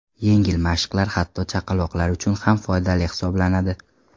Yengil mashqlar hatto chaqaloqlar uchun ham foydali hisoblanadi.